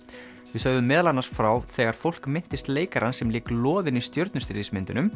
við sögðum meðal annars frá þegar fólk minntist leikara sem lék loðinn í